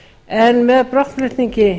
en með brottflutningi